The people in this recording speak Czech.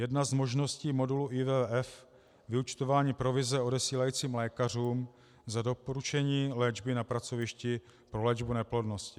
Jedna z možností modulu IVF, vyúčtování provize odesílajícím lékařům za doporučení léčby na pracovišti pro léčbu neplodnosti.